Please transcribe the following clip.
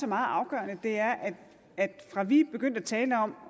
meget afgørende er at fra at vi begyndte at tale om